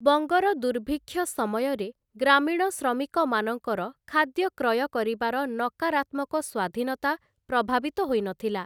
ବଙ୍ଗର ଦୁର୍ଭିକ୍ଷ ସମୟରେ ଗ୍ରାମୀଣ ଶ୍ରମିକମାନଙ୍କର ଖାଦ୍ୟ କ୍ରୟ କରିବାର ନକାରାତ୍ମକ ସ୍ୱାଧୀନତା ପ୍ରଭାବିତ ହୋଇନଥିଲା ।